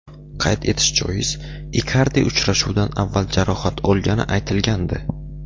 Qayd etish joiz, Ikardi uchrashuvdan avval jarohat olgani aytilgandi.